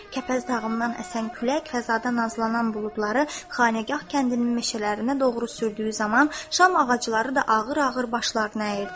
Kəpəz dağından əsən külək fəzada nazlanan buludları Xanağa kəndinin meşələrinə doğru sürdüyü zaman şam ağacları da ağır-ağır başlarını əyirdi.